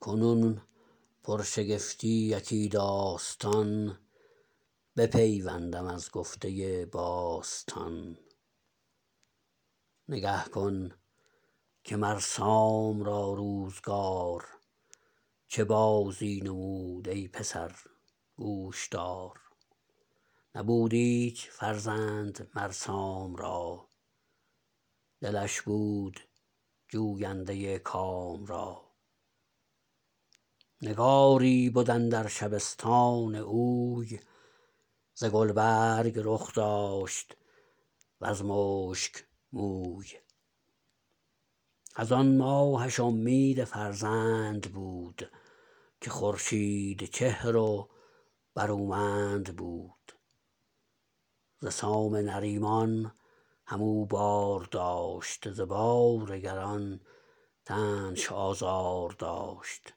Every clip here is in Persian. کنون پرشگفتی یکی داستان بپیوندم از گفته باستان نگه کن که مر سام را روزگار چه بازی نمود ای پسر گوش دار نبود ایچ فرزند مر سام را دلش بود جوینده کام را نگاری بد اندر شبستان اوی ز گلبرگ رخ داشت و ز مشک موی از آن ماهش امید فرزند بود که خورشید چهر و برومند بود ز سام نریمان هم او بار داشت ز بار گران تنش آزار داشت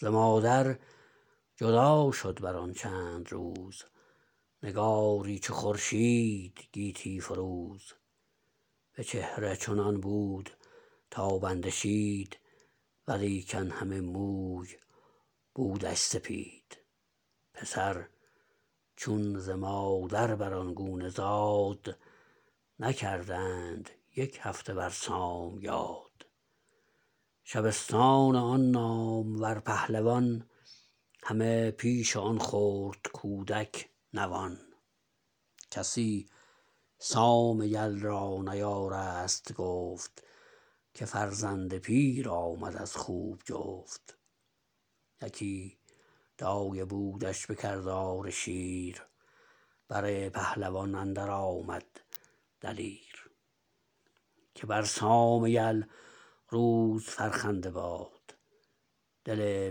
ز مادر جدا شد بر آن چند روز نگاری چو خورشید گیتی فروز به چهره چنان بود تابنده شید ولیکن همه موی بودش سپید پسر چون ز مادر بر آن گونه زاد نکردند یک هفته بر سام یاد شبستان آن نامور پهلوان همه پیش آن خرد کودک نوان کسی سام یل را نیارست گفت که فرزند پیر آمد از خوب جفت یکی دایه بودش به کردار شیر بر پهلوان اندر آمد دلیر که بر سام یل روز فرخنده باد دل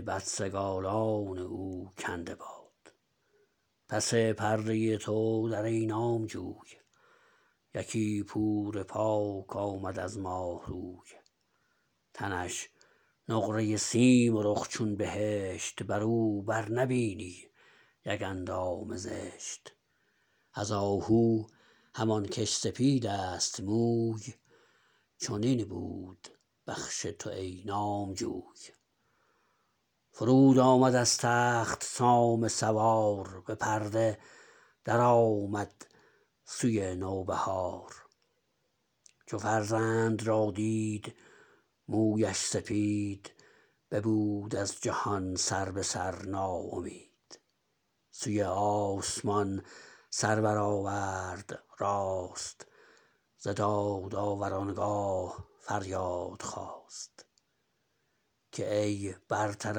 بدسگالان او کنده باد پس پرده تو در ای نامجوی یکی پور پاک آمد از ماه روی تنش نقره سیم و رخ چون بهشت بر او بر نبینی یک اندام زشت از آهو همان کش سپید است موی چنین بود بخش تو ای نامجوی فرود آمد از تخت سام سوار به پرده درآمد سوی نو بهار چو فرزند را دید مویش سپید ببود از جهان سر به سر ناامید سوی آسمان سر برآورد راست ز دادآور آنگاه فریاد خواست که ای برتر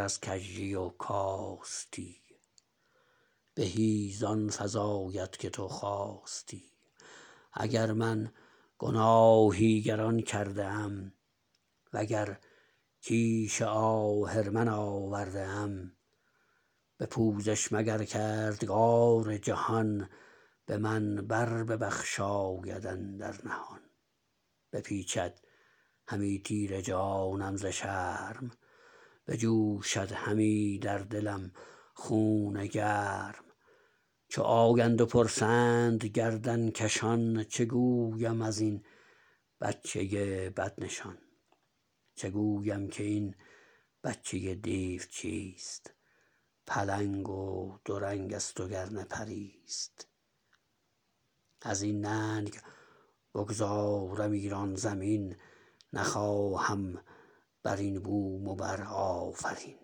از کژی و کاستی بهی زان فزاید که تو خواستی اگر من گناهی گران کرده ام و گر کیش آهرمن آورده ام به پوزش مگر کردگار جهان به من بر ببخشاید اندر نهان بپیچد همی تیره جانم ز شرم بجوشد همی در دلم خون گرم چو آیند و پرسند گردن کشان چه گویم از این بچه بدنشان چه گویم که این بچه دیو چیست پلنگ و دو رنگ است و گر نه پری ست از این ننگ بگذارم ایران زمین نخواهم بر این بوم و بر آفرین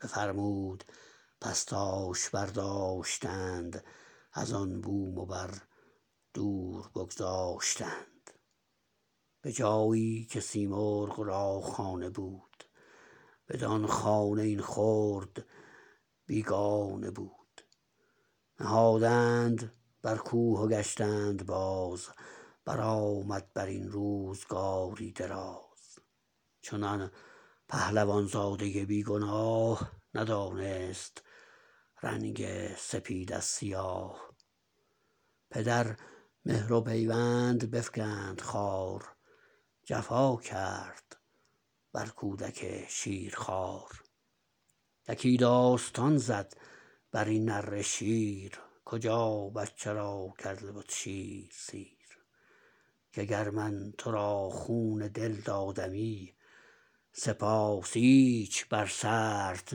بفرمود پس تاش برداشتند از آن بوم و بر دور بگذاشتند به جایی که سیمرغ را خانه بود بدان خانه این خرد بیگانه بود نهادند بر کوه و گشتند باز برآمد بر این روزگاری دراز چنان پهلوان زاده بی گناه ندانست رنگ سپید از سیاه پدر مهر و پیوند بفگند خوار جفا کرد بر کودک شیرخوار یکی داستان زد بر این نره شیر کجا بچه را کرده بد شیر سیر که گر من تو را خون دل دادمی سپاس ایچ بر سرت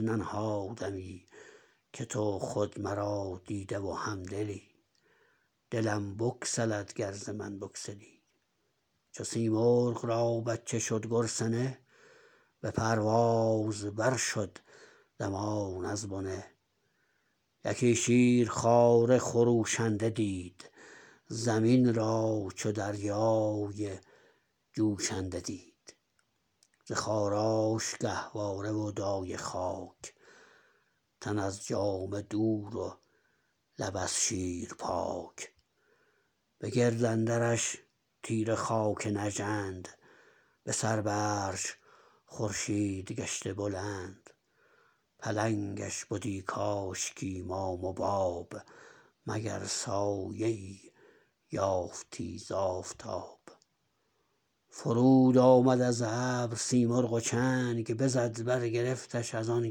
ننهادمی که تو خود مرا دیده و هم دلی دلم بگسلد گر ز من بگسلی چو سیمرغ را بچه شد گرسنه به پرواز بر شد دمان از بنه یکی شیرخواره خروشنده دید زمین را چو دریای جوشنده دید ز خاراش گهواره و دایه خاک تن از جامه دور و لب از شیر پاک به گرد اندرش تیره خاک نژند به سر برش خورشید گشته بلند پلنگش بدی کاشکی مام و باب مگر سایه ای یافتی ز آفتاب فرود آمد از ابر سیمرغ و چنگ بزد برگرفتش از آن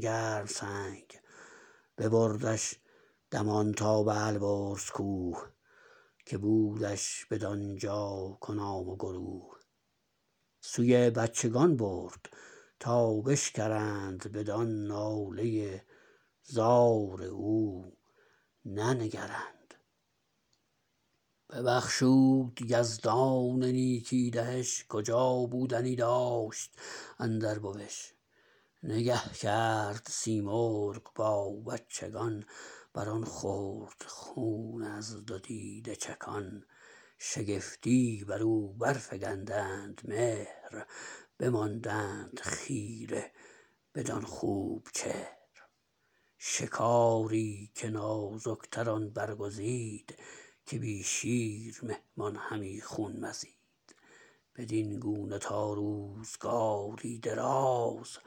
گرم سنگ ببردش دمان تا به البرز کوه که بودش بدانجا کنام و گروه سوی بچگان برد تا بشکرند بدان ناله زار او ننگرند ببخشود یزدان نیکی دهش کجا بودنی داشت اندر بوش نگه کرد سیمرغ با بچگان بر آن خرد خون از دو دیده چکان شگفتی بر او بر فگندند مهر بماندند خیره بدان خوب چهر شکاری که نازک تر آن برگزید که بی شیر مهمان همی خون مزید بدین گونه تا روزگاری دراز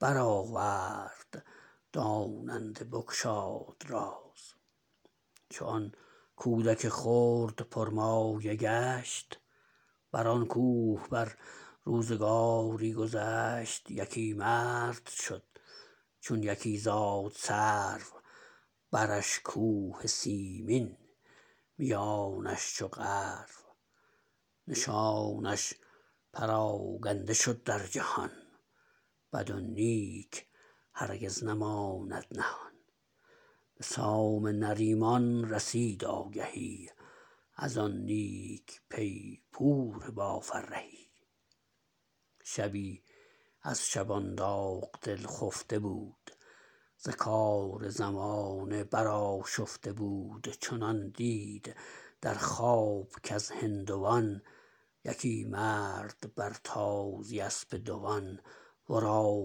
برآورد داننده بگشاد راز چو آن کودک خرد پر مایه گشت بر آن کوه بر روزگاری گذشت یکی مرد شد چون یکی زاد سرو برش کوه سیمین میانش چو غرو نشانش پراگنده شد در جهان بد و نیک هرگز نماند نهان به سام نریمان رسید آگهی از آن نیک پی پور با فرهی شبی از شبان داغ دل خفته بود ز کار زمانه برآشفته بود چنان دید در خواب کز هندوان یکی مرد بر تازی اسپ دوان ورا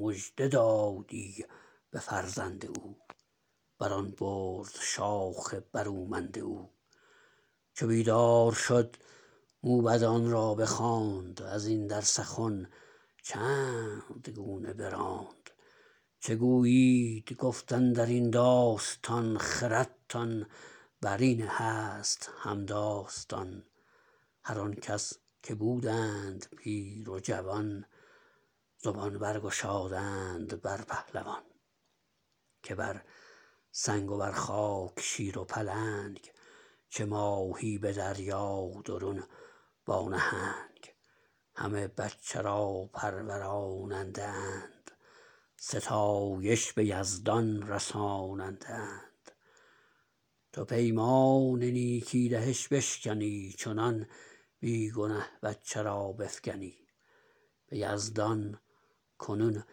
مژده دادی به فرزند او بر آن برز شاخ برومند او چو بیدار شد موبدان را بخواند از این در سخن چند گونه براند چه گویید گفت اندر این داستان خردتان بر این هست هم داستان هر آنکس که بودند پیر و جوان زبان برگشادند بر پهلوان که بر سنگ و بر خاک شیر و پلنگ چه ماهی به دریا درون با نهنگ همه بچه را پروراننده اند ستایش به یزدان رساننده اند تو پیمان نیکی دهش بشکنی چنان بی گنه بچه را بفگنی به یزدان کنون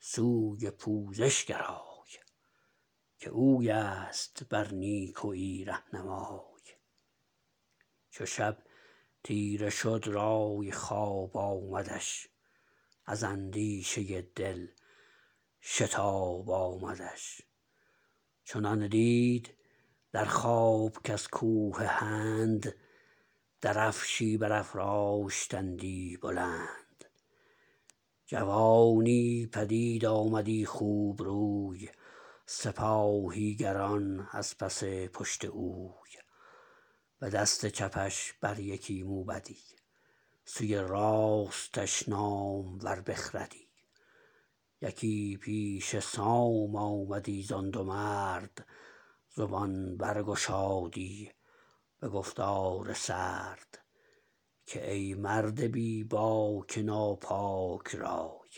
سوی پوزش گرای که اوی است بر نیکویی رهنمای چو شب تیره شد رای خواب آمدش از اندیشه دل شتاب آمدش چنان دید در خواب کز کوه هند درفشی برافراشتندی بلند جوانی پدید آمدی خوب روی سپاهی گران از پس پشت اوی به دست چپش بر یکی موبدی سوی راستش نامور بخردی یکی پیش سام آمدی زان دو مرد زبان بر گشادی به گفتار سرد که ای مرد بی باک ناپاک رای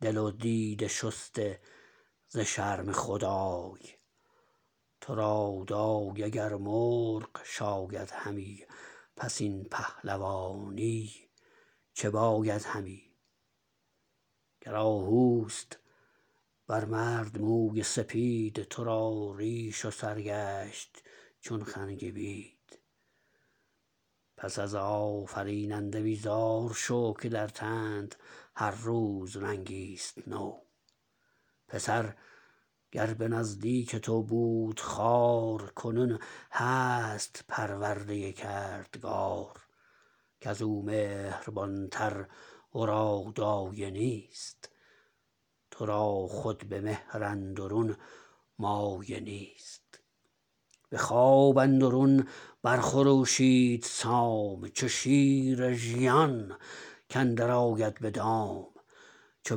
دل و دیده شسته ز شرم خدای تو را دایه گر مرغ شاید همی پس این پهلوانی چه باید همی گر آهو است بر مرد موی سپید تو را ریش و سر گشت چون خنگ بید پس از آفریننده بیزار شو که در تنت هر روز رنگی ست نو پسر گر به نزدیک تو بود خوار کنون هست پرورده کردگار کز او مهربان تر ورا دایه نیست تو را خود به مهر اندرون مایه نیست به خواب اندرون بر خروشید سام چو شیر ژیان کاندر آید به دام چو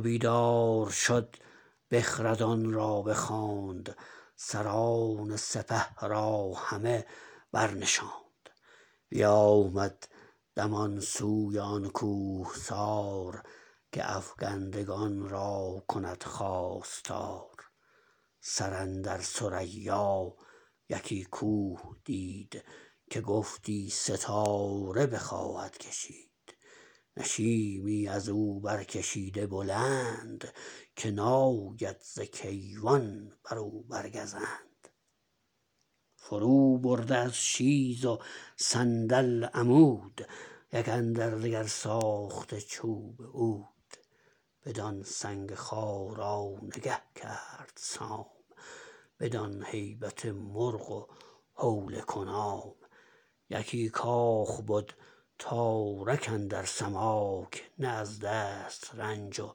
بیدار شد بخردان را بخواند سران سپه را همه برنشاند بیامد دمان سوی آن کوهسار که افگندگان را کند خواستار سر اندر ثریا یکی کوه دید که گفتی ستاره بخواهد کشید نشیمی از او برکشیده بلند که ناید ز کیوان بر او بر گزند فرو برده از شیز و صندل عمود یک اندر دگر ساخته چوب عود بدان سنگ خارا نگه کرد سام بدان هیبت مرغ و هول کنام یکی کاخ بد تارک اندر سماک نه از دست رنج و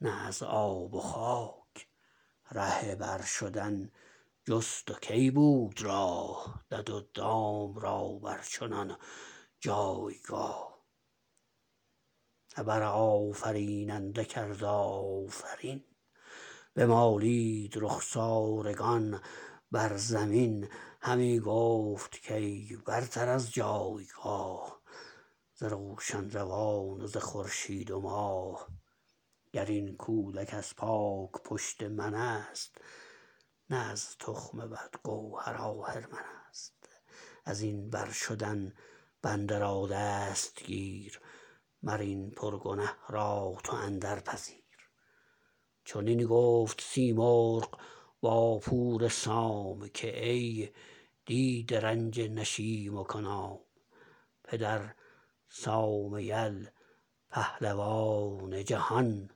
نه از آب و خاک ره بر شدن جست و کی بود راه دد و دام را بر چنان جایگاه ابر آفریننده کرد آفرین بمالید رخسارگان بر زمین همی گفت کای برتر از جایگاه ز روشن روان و ز خورشید و ماه گر این کودک از پاک پشت من است نه از تخم بد گوهر آهرمن است از این بر شدن بنده را دست گیر مر این پر گنه را تو اندر پذیر چنین گفت سیمرغ با پور سام که ای دیده رنج نشیم و کنام پدر سام یل پهلوان جهان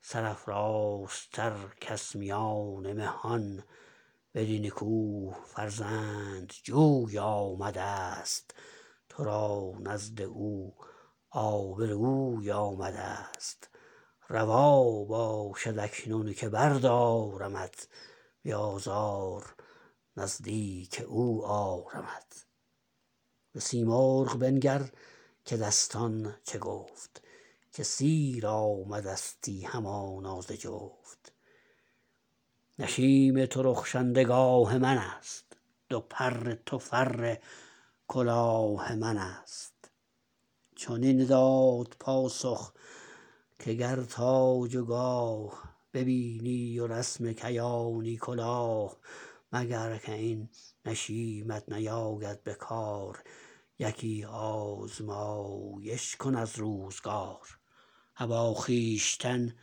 سرافرازتر کس میان مهان بدین کوه فرزند جوی آمدست تو را نزد او آب روی آمدست روا باشد اکنون که بردارمت بی آزار نزدیک او آرمت به سیمرغ بنگر که دستان چه گفت که سیر آمدستی همانا ز جفت نشیم تو رخشنده گاه من است دو پر تو فر کلاه من است چنین داد پاسخ که گر تاج و گاه ببینی و رسم کیانی کلاه مگر کاین نشیمت نیاید به کار یکی آزمایش کن از روزگار ابا خویشتن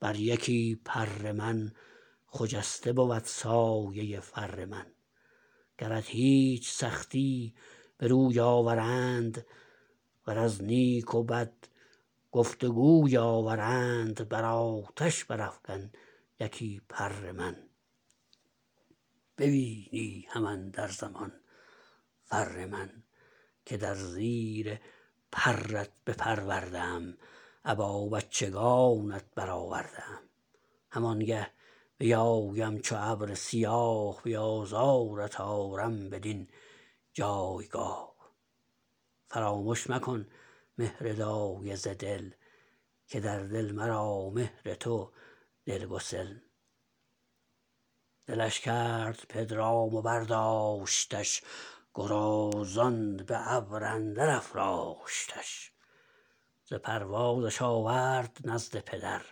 بر یکی پر من خجسته بود سایه فر من گرت هیچ سختی به روی آورند ور از نیک و بد گفت و گوی آورند بر آتش برافگن یکی پر من ببینی هم اندر زمان فر من که در زیر پرت بپرورده ام ابا بچگانت برآورده ام همان گه بیایم چو ابر سیاه بی آزارت آرم بدین جایگاه فرامش مکن مهر دایه ز دل که در دل مرا مهر تو دلگسل دلش کرد پدرام و برداشتش گرازان به ابر اندر افراشتش ز پروازش آورد نزد پدر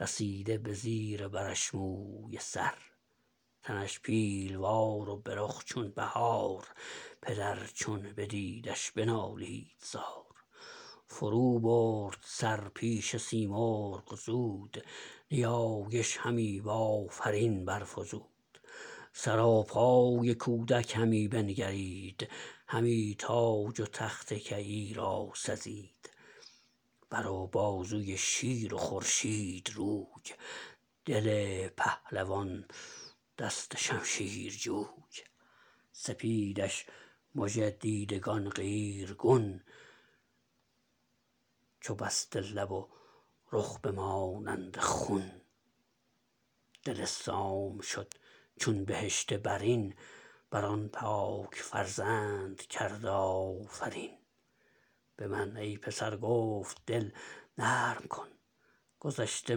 رسیده به زیر برش موی سر تنش پیلوار و به رخ چون بهار پدر چون بدیدش بنالید زار فرو برد سر پیش سیمرغ زود نیایش همی بآفرین برفزود سراپای کودک همی بنگرید همی تاج و تخت کیی را سزید بر و بازوی شیر و خورشید روی دل پهلوان دست شمشیر جوی سپیدش مژه دیدگان قیرگون چو بسد لب و رخ به مانند خون دل سام شد چون بهشت برین بر آن پاک فرزند کرد آفرین به من ای پسر گفت دل نرم کن گذشته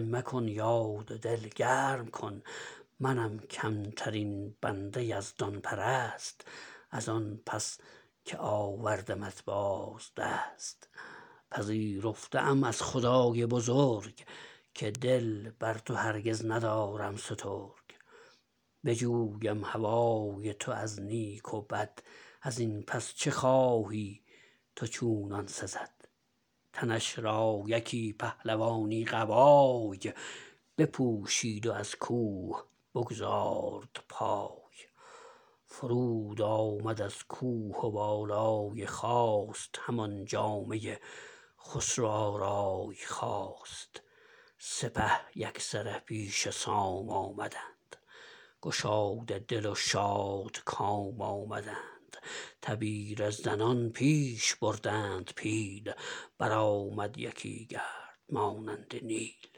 مکن یاد و دل گرم کن منم کم ترین بنده یزدان پرست از آن پس که آوردمت باز دست پذیرفته ام از خدای بزرگ که دل بر تو هرگز ندارم سترگ بجویم هوای تو از نیک و بد از این پس چه خواهی تو چونان سزد تنش را یکی پهلوانی قبای بپوشید و از کوه بگزارد پای فرود آمد از کوه و بالای خواست همان جامه خسرو آرای خواست سپه یک سره پیش سام آمدند گشاده دل و شادکام آمدند تبیره زنان پیش بردند پیل برآمد یکی گرد مانند نیل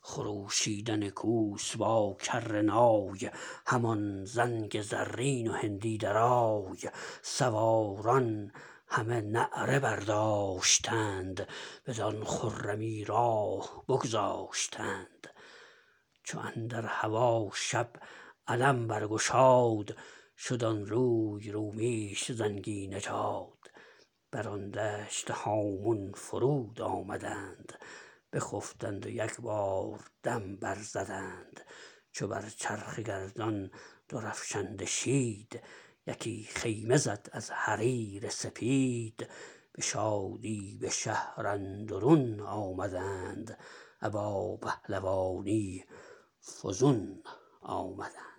خروشیدن کوس با کره نای همان زنگ زرین و هندی درای سواران همه نعره برداشتند بدان خرمی راه بگذاشتند چو اندر هوا شب علم برگشاد شد آن روی رومیش زنگی نژاد بر آن دشت هامون فرود آمدند بخفتند و یکبار دم بر زدند چو بر چرخ گردان درفشنده شید یکی خیمه زد از حریر سپید به شادی به شهر اندرون آمدند ابا پهلوانی فزون آمدند